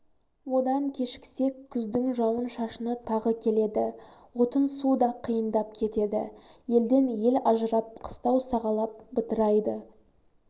одан кешіксек күздің жауын-шашыны тағы келеді отын-су да қиындап кетеді елден ел ажырап қыстау сағалап бытырайды